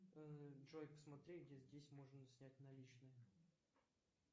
джой посмотри где здесь можно снять наличные